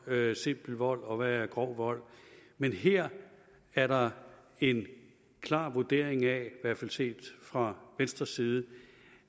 der er simpel vold og hvad der er grov vold men her er der en klar vurdering af i hvert fald set fra venstres side